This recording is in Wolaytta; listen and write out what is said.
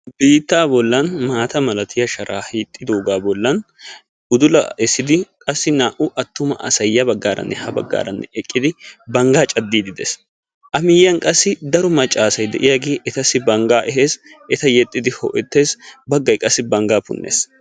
Bitta bollani maatta malattiya sharaay hiixetti uttidagga bollan udulla esiddi naa'u atumma asay ya bagaranne ha baggara eqqidi bangga cadidi dees, a miyiyani qassi daro maccassay de'iyaagge etta yexiddi ho'ettes qassi bangga punees.